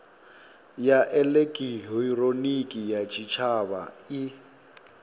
ya elekihironiki ya tshitshavha i